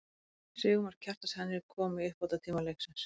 Sigurmark, Kjartans Henry kom í uppbótartíma leiksins.